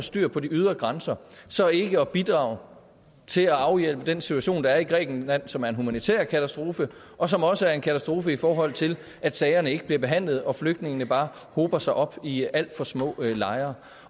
styr på de ydre grænser så ikke at bidrage til at afhjælpe den situation der er i grækenland som er en humanitær katastrofe og som også er en katastrofe i forhold til at sagerne ikke bliver behandlet og flygtningene bare hober sig op i alt for små lejre